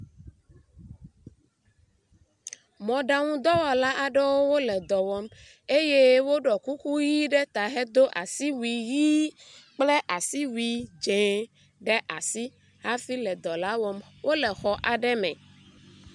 Mɔɖaŋudɔwɔla aɖewo le dɔ wɔm eye woɖɔ kuku ʋi ɖe eta hedo asiwui ʋi kple asiwui dze ɖe asi hafi le dɔ la wɔm. wo le xɔ aɖe me.